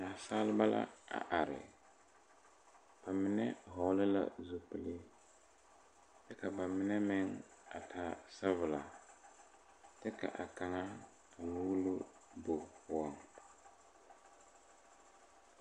Nasaaleba la a are ba mine hɔɔle la zupile kyɛ ka ba mine meŋ a taa sabulɔ kyɛ ka a kaŋa muulo bogi poɔŋ.